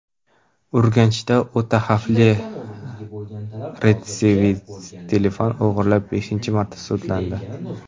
Urganchda o‘ta xavfli retsidivist telefon o‘g‘irlab, beshinchi marta sudlandi.